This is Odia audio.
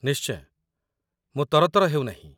ନିଶ୍ଚୟ, ମୁଁ ତରତର ହେଉନାହିଁ